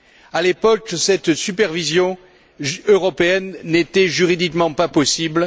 À l'époque, cette supervision européenne n'était juridiquement pas possible.